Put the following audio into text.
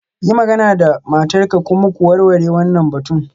Yi magana da matarka kuma ku warware wannan batun.